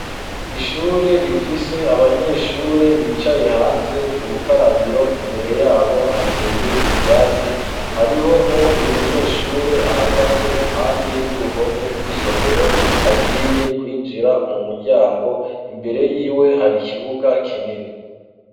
Ishure rifise abanyeshure bicaye hanze k''urukarabiro. Imbere y'abo, hateye ivyatsi. Hariho n'uwundi munyeshure ahagaze impande y'uruhome rw'isomero, agiye kwinjira mu muryango. Imbere y''iwe hari kibuga kinini.